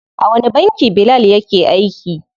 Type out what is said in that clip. A wani banki Bilal yake aiki?